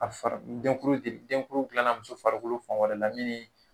ni denkuru dilanan farikolo fan wɛrɛ la minu ni